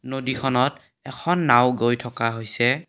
নদীখনত এখন নাওঁ গৈ থকা হৈছে।